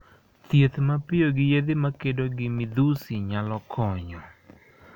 Thieth mapiyo gi yedhe ma kedo gi midhusi nyalo konyo.